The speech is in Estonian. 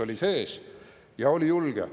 … oli sees, ja oli julge.